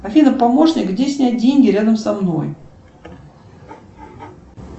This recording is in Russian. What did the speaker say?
афина помощник где снять деньги рядом со мной